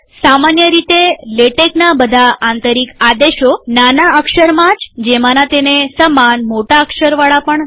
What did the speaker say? સામાન્ય રીતે લેટેકના બધા આંતરિક આદેશો નાના અક્ષરમાં જ જેમાના તેને સમાન મોટા અક્ષર વાળા પણ છે